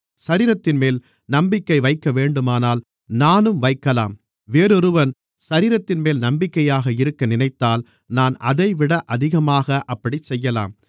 சரீரத்தின்மேல் நம்பிக்கை வைக்கவேண்டுமானால் நானும் வைக்கலாம் வேறொருவன் சரீரத்தின்மேல் நம்பிக்கையாக இருக்க நினைத்தால் நான் அதைவிட அதிகமாக அப்படிச் செய்யலாம்